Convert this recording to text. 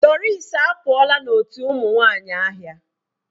Doris apụọla n'otu ụmụ nwanyị ahịa.